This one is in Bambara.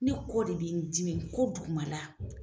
Ne kɔ de be n dimi, ko dugumala.